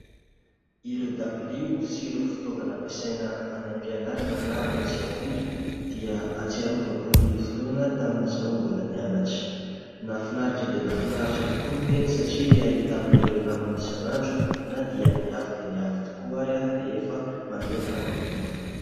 Ireo dabilio sy ireo fitaovana ampiasaina any am-pianarana na any an-tsekoly dia ahatsiarovako ny fotoana tamin'izaho mbola nianatra. Nahafinaritra dia nahafinaritra tokoa ny teny satria ahitana ireo namana isan'andro na dia niafy dia niafy tokoa ary rehefa mandeha ny fanadinana.